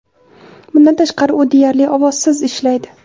Bundan tashqari, u deyarli ovozsiz ishlaydi.